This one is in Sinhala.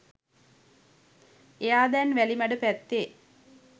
එයා දැන් වැලිමඩ පැත්තේ